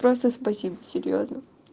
просто спасибо серьёзно